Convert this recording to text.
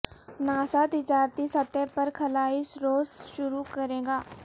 NASA تجارتی سطح پر خلائی سروس شروع کرے گا